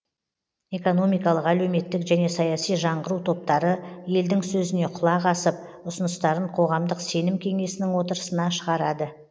экономикалық әлеуметтік және саяси жаңғыру топтары елдің сөзіне құлақ асып ұсыныстарын қоғамдық сенім кеңесінің отырысына шығарады